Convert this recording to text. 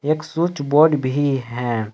एक switch board भी है।